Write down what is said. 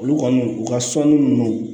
Olu kɔni u ka sɔnni nunnu